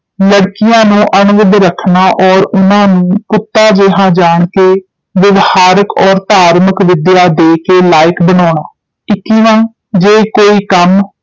ਲੜਕੀਆਂ ਨੂੰ ਅਣਵਿੱਧ ਰੱਖਣਾ ਔਰ ਉਨ੍ਹਾਂ ਨੂੰ ਪੁੱਤਾਂ ਜੇਹਾ ਜਾਣ ਕੇ ਵਿਵਹਾਰਕ ਔਰ ਧਾਰਮਕ ਵਿਦਿਆ ਦੇ ਕੇ ਲਾਇਕ ਬਨਾਉਣਾ ਇੱਕੀਵਾਂ ਜੇ ਕੋਈ ਕੰਮ